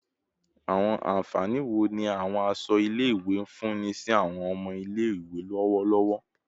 Awọn anfani wo ni awọn aṣọ ile-iwe nfunni si awọn ọmọ ile-iwe lọwọlọwọ?